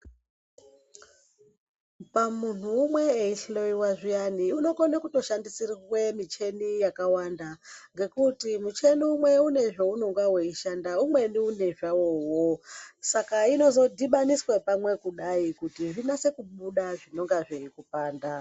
Pamunhu umwe eyuhloyiwa zviyani unokona kutoshandisirwa muchini yakawanda ngekuti muchini umwe unenge une zvaanenge weishanda umweni une zvawowo. Saka zvinozodhibhaniswa kuti zvinase kubuda zvinenge zveikipanda.